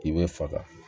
I bɛ faga